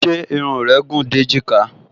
Ṣé irun rẹ gùn dé èjìká?